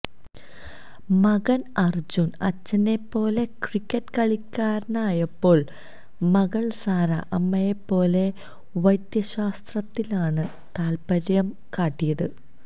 മകന് അര്ജുന് അച്ഛനെപ്പോലെ ക്രിക്കറ്റ് കളിക്കാരനായപ്പോള് മകള് സാറ അമ്മയെപ്പോലെ വൈദ്യശാസ്ത്രത്തിലാണ് താത്പര്യം കാട്ടിയത്